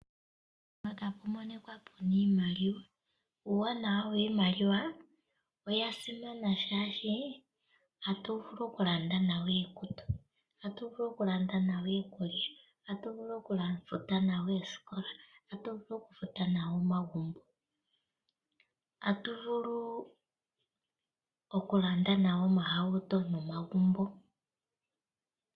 Mpaka apu monikwa pu na iimaliwa, uuwanawa wiimaliwa oya simana shaashi: atu vulu okulanda nayo iikutu, atu vulu okulanda nayo iikulya, atu vulu okufuta nayo eeskola at vulu okulanda nayo omagumbo, atu vulu okalanda nayo omahauto nomagumbo.